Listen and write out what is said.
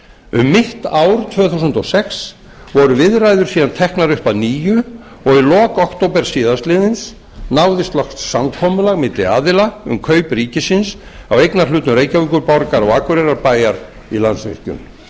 um mitt ár tvö þúsund og sex voru viðræður síðan teknar upp að nýju í lok október síðastliðins náðist loks samkomulag milli aðila um kaup ríkisins á eignarhlutum reykjavíkurborgar og akureyrarbæjar í landsvirkjun